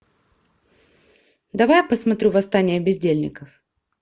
давай я посмотрю восстание бездельников